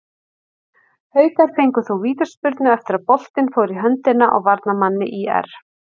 Haukar fengu þó vítaspyrnu eftir að boltinn fór í höndina á varnarmanni ÍR.